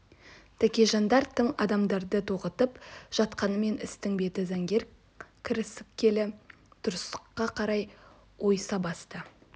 тәкежандар тың адамдарды тоғытып жатқанмен істің беті заңгер кіріскелі дұрыстыққа қарай ойыса бастады